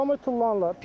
Promoy tullanırlar.